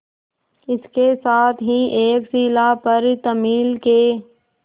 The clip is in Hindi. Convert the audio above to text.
इसके साथ ही एक शिला पर तमिल के